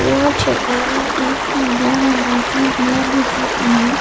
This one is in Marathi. या ठिकाणी एक पांढऱ्या रंगाचे घर दिसतं आहे.